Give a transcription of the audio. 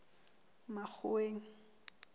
makgoweng